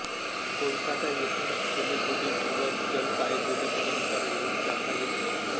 कोलकाता येथून सिलिगुडी किंवा जलपायगुडीपर्यंत रेल्वेने जाता येते